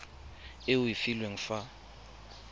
e o e filweng fa